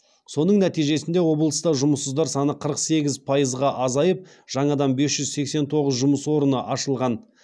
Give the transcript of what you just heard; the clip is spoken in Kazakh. соның нәтижесінде облыста жұмыссыздар саны қырық сегіз пайызға азайып жаңадан бес жүз сексен тоғыз жұмыс орны ашылған